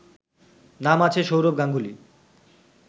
নাম আছে সৌরভ গাঙ্গুলি